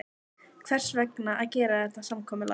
Hvers vegna að gera þetta samkomulag?